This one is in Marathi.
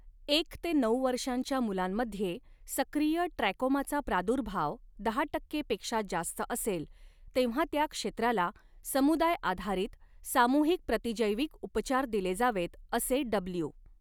एक ते नऊ वर्षांच्या मुलांमध्ये सक्रिय ट्रॅकोमाचा प्रादुर्भाव दहा टक्के पेक्षा जास्त असेल, तेव्हा त्या क्षेत्राला समुदाय आधारित, सामुहिक प्रतिजैविक उपचार दिले जावेत असे डब्ल्यू.